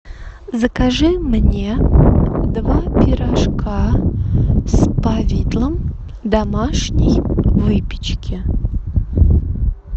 закажи мне два пирожка с повидлом домашней выпечки